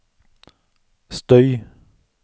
støy